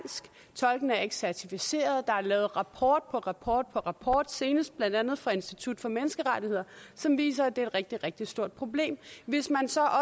tolkene er ikke certificeret der er lavet rapport på rapport på rapport senest blandt andet fra institut for menneskerettigheder som viser at det er et rigtig rigtig stort problem hvis man så